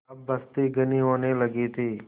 अब बस्ती घनी होने लगी थी